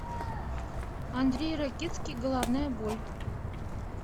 андрей ракитский головная боль